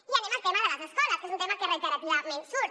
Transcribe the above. i anem al tema de les escoles que és un tema que reiterativament surt